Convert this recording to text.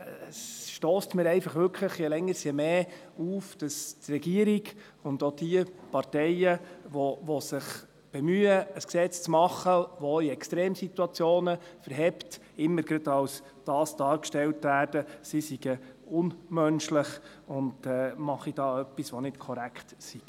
Es stösst mir einfach wirklich je länger, je mehr auf, dass die Regierung und auch jene Parteien, die sich bemühen, ein Gesetz zu machen, das auch in Extremsituationen standhält, immer gerade als unmenschlich dargestellt werden, als würden sie etwas tun, das nicht korrekt ist.